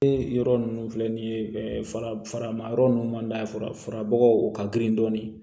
Ee yɔrɔ ninnu filɛ nin ye farama yɔrɔ ninnu man d'a ye farabagaw o ka girin dɔɔnin